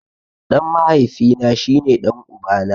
Ɗan mahaifi na shi ne ɗan uba na.